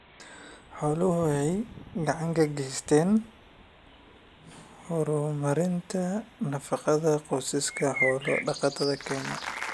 Xooluhu waxay gacan ka geystaan ??horumarinta nafaqada qoysaska xoolo-dhaqatada Kenya.